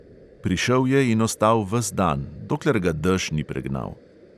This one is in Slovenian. Prišel je in ostal ves dan, dokler ga dež ni pregnal.